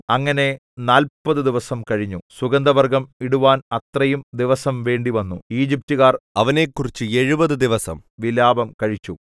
അങ്ങനെ നാല്പതു ദിവസം കഴിഞ്ഞു സുഗന്ധവർഗ്ഗം ഇടുവാൻ അത്രയും ദിവസം വേണ്ടി വന്നു ഈജിപ്റ്റുകാർ അവനെക്കുറിച്ച് എഴുപത് ദിവസം വിലാപം കഴിച്ചു